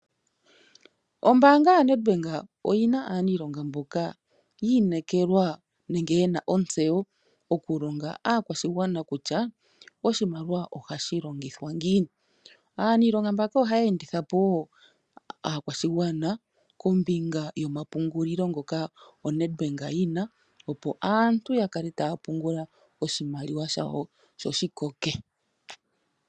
Ombaanga yo Nedbank oyina aaniilonga mboka yi inekelelwa nenge yena ontseyo oku longa aakwashigwana kutya, oshimaliwa oha shi longithwa ngiini. Aaniilonga mbaka oha ya enditha po wo aakwashigwana kombinga yoma pungulilo ngoka o Nedbank yina, opo aantu ya kale ta ya pungula oshimaliwa shawo sho shi koke.